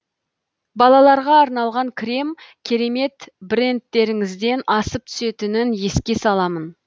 балаларға арналған крем керемет брендтеріңізден асып түсетінін еске саламын